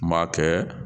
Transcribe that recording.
N b'a kɛ